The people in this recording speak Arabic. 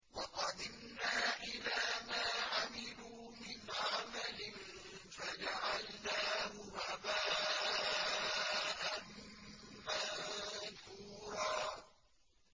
وَقَدِمْنَا إِلَىٰ مَا عَمِلُوا مِنْ عَمَلٍ فَجَعَلْنَاهُ هَبَاءً مَّنثُورًا